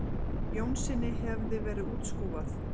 Jónssyni hefði verið útskúfað.